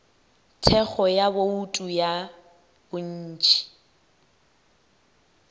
thekgo ya bouto ya bontši